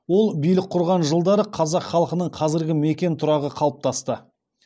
ол билік құрған жылдары қазақ халқының қазіргі мекен тұрағы қалыптасты